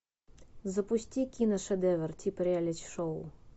запусти киношедевр типа реалити шоу